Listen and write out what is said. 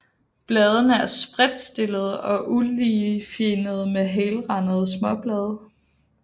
Bladene er spredtstillede og uligefinnede med helrandede småblade